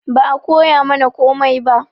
Ba a koyamana komai ba